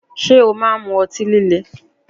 Ṣé ó máa ń mu ọtí?